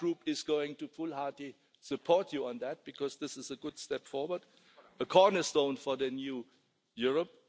My Group is going to full-heartedly support you on that because this is a good step forward, a cornerstone for the new Europe.